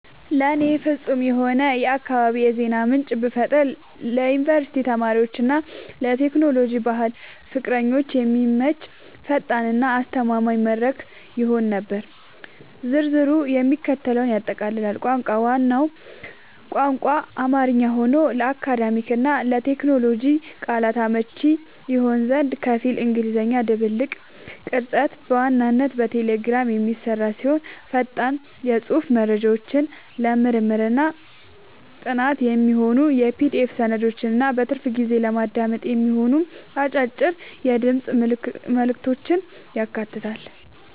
ለእኔ ፍጹም የሆነውን የአካባቢ የዜና ምንጭ ብፈጥር ለዩኒቨርሲቲ ተማሪዎች እና ለቴክኖሎጂ/ባህል ፍቅረኞች የሚመች፣ ፈጣን እና አስተማማኝ መድረክ ይሆን ነበር። ዝርዝሩም የሚከተለውን ያጠቃልላል - ቋንቋ፦ ዋናው ቋንቋ አማርኛ ሆኖ፣ ለአካዳሚክ እና ለቴክኖሎጂ ቃላቶች አመቺ እንዲሆን ከፊል እንግሊዝኛ ድብልቅ። ቅርጸት፦ በዋናነት በቴሌግራም የሚሰራ ሲሆን፣ ፈጣን የጽሑፍ መረጃዎችን፣ ለምርምርና ጥናት የሚሆኑ የPDF ሰነዶችን እና በትርፍ ጊዜ ለማዳመጥ የሚሆኑ አጫጭር የድምፅ መልዕክቶችን ያካትታል።